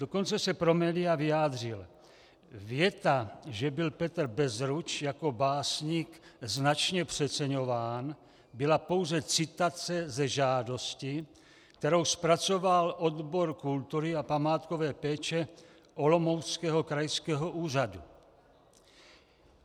Dokonce se pro média vyjádřil: "Věta, že byl Petr Bezruč jako básník značně přeceňován, byla pouze citace ze žádosti, kterou zpracoval odbor kultury a památkové péče Olomouckého krajského úřadu.